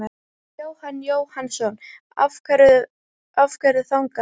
Jóhann Jóhannsson: Af hverju þangað?